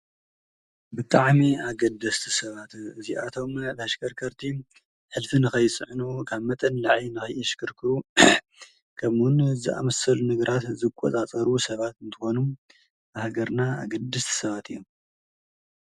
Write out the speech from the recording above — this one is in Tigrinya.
ብጣዕሚ ኣገደስቲ ሰባት እዚኣቶም ኣሸከርከርቲ ሕልፊ ንከይፅዕኑ ካብ መጠን ንላዕሊ ንከይሽከርክሩ ከምኡ ውን ዘኣመሰሉ ነገራት ዝቆፃፀሩ ሰባት እንትኮኑ ንሃገርና ኣገደስቲ ሰባት እዮም ።